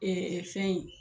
Ɛɛ fɛn ye